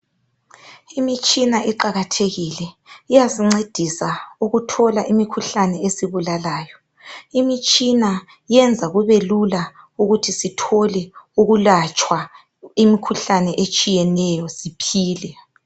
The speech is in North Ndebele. Imitshina iqakathekile, iyasincedisa ukuthola imikhuhlane esibulalayo Imitshina yenza kubelula ukuthi sithole ukulatshwa imikhuhlane etshiyeneyo siphile.